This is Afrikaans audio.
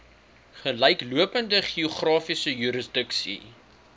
gelyklopende geografiese jurisdiksie